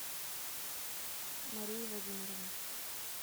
марии владимировне